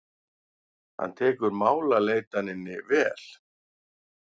Hann tekur málaleitaninni vel.